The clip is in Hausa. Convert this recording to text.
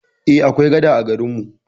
Eh, akwai gada a garin mu.